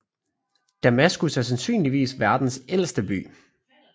Damaskus er sandsynligvis verdens ældste by